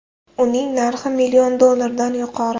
Uning narxi million dollardan yuqori.